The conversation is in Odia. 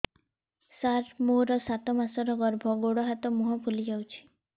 ସାର ମୋର ସାତ ମାସର ଗର୍ଭ ଗୋଡ଼ ହାତ ମୁହଁ ଫୁଲି ଯାଉଛି